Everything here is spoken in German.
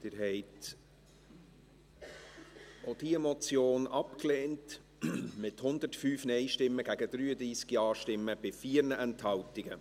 Sie haben auch diese Motion abgelehnt, mit 105 Nein- zu 33 Ja-Stimmen bei 4 Enthaltungen.